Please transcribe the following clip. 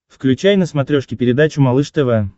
включай на смотрешке передачу малыш тв